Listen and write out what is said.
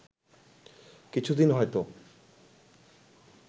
কিছু দিন হয়তো